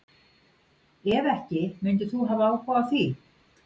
Ef ekki myndir þú hafa áhuga á því?